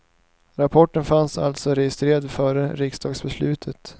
Rapporten fanns alltså registrerad före riksdagsbeslutet.